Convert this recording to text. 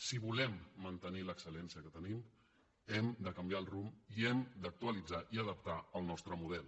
si volem mantenir l’excel·lència que tenim hem de canviar el rumb i hem d’actualitzar i adaptar el nostre model